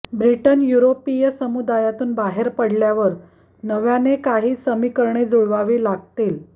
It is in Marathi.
ब्रिटन युरोपीय समुदायातून बाहेर पडल्यावर नव्याने काही समीकरणे जुळवावी लागतील